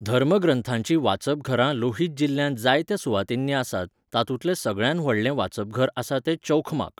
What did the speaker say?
धर्मग्रंथांचीं वाचपघरां लोहित जिल्ल्यांत जायत्या सुवातींनी आसात, तांतूंतलें सगळ्यांत व्हडलें वाचपघर आसा तें चौखमाक.